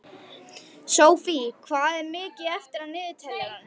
Sophie, hvað er mikið eftir af niðurteljaranum?